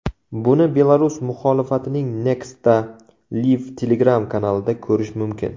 Buni Belarus muxolifatining Nexta Live Telegram kanalida ko‘rish mumkin .